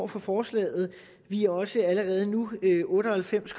for forslaget vi er også allerede nu otte og halvfems